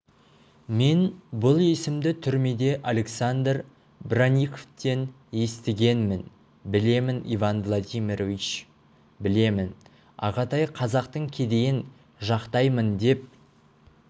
мен бұл есімді түрмеде александр бронниковтен естігенмін білемін иван владимирович білемін ағатай қазақтың кедейін жақтаймын деп